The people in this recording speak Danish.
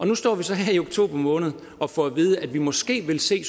nu står vi så her i oktober måned og får at vide at vi måske vil se